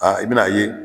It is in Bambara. Aa i bɛn'a ye